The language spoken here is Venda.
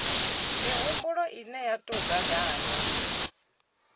mihumbulo ine ya tou gaganywa